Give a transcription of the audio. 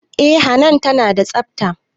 Eh hanan tana da tsafta